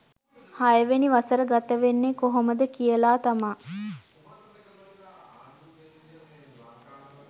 හයවෙනි වසර ගත වෙන්නේ කොහොමද කියලා තමා